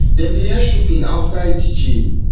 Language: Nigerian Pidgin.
dem dey hear shooting outside di outside di jail